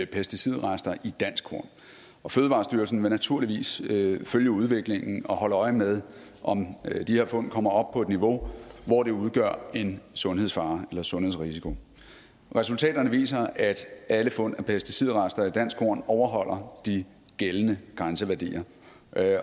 pesticidrester i dansk korn og fødevarestyrelsen vil naturligvis følge udviklingen og holde øje med om de her fund kommer op på et niveau hvor de udgør en sundhedsfare eller sundhedsrisiko resultaterne viser at alle fund af pesticidrester i dansk korn overholder de gældende grænseværdier